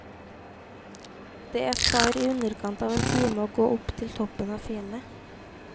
Det tar i underkant av en time å gå opp til toppen av fjellet.